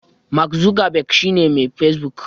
Mark Zuckerberg shi ne Mai Facebook.